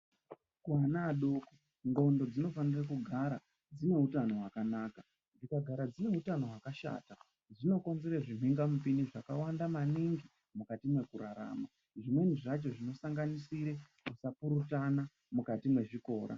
Kuana adoko ndxondo dzinofanira kugara dzineutano wakanaka dzikagara dzineutano wakashata dzinokonzera zvimhingamupini zvakawanda maningi mukati mekurarama zvimweni zvakhona zvinosanganisire kusapurutana mukati mezvikora.